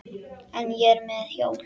En ég er með hjól.